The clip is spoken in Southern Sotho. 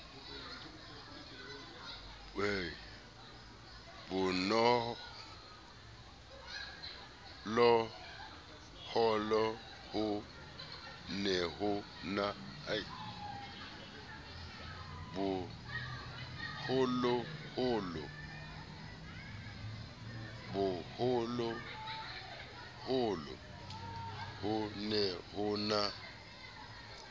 boholoholo ho ne ho na